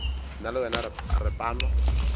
nna le wena re panwa